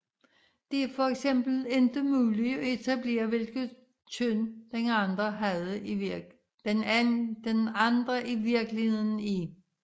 Det er for eksempel ikke muligt at etablere hvilket køn den anden i virkeligheden er